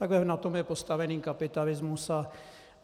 Takhle na tom je postavený kapitalismus.